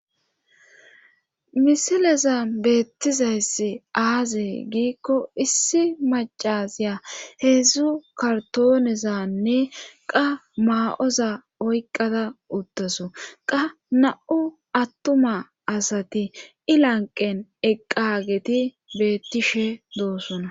misileza beettizayssi aaze giikko issi macaziya heedzdzu kartoonezanne qa maa7oza oyqqada uttasu qa na7u attuma asati ilanqen eqqageti beettishe doosona